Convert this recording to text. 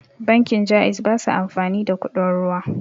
Bankin Ja'iz basa amfani da kuɗin ruwa